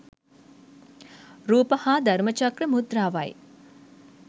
රූප හා ධර්මචක්‍ර මුද්‍රාවයි.